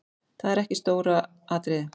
Það er ekki stóra atriðið.